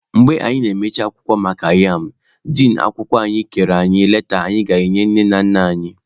Mgbe anyị na-emechi akwụkwọ maka yam, din akwụkwọ kere anyi leta anyị ga-enye nne na nna anyị.